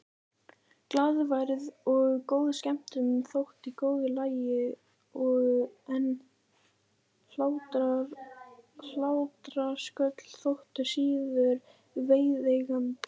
Glaðværð og góð skemmtun þóttu í góðu lagi en hlátrasköll þóttu síður viðeigandi.